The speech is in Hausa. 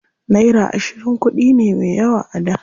Naira ashirin kuɗi ne me yawa a da.